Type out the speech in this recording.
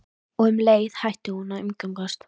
Og um leið hætti hún að umgangast